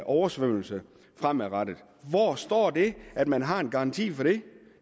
oversvømmelse fremadrettet hvor står der at man har en garanti for det